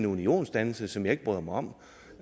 unionsdannelse som jeg ikke bryder mig om